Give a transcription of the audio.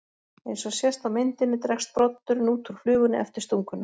Eins og sést á myndinni dregst broddurinn út úr flugunni eftir stunguna.